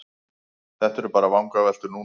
Þetta eru bara vangaveltur núna.